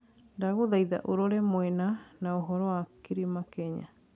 ndagũthaĩtha ũrore mũena na ũhoro wa kĩrima kenya